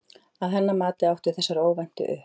Að hennar mati áttu þessar óvæntu upp